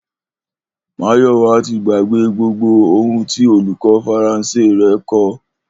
Máyò̩wá ti gbàgbé gbogbo ohun tí olùkó̩ Faransé rè̩ ko̩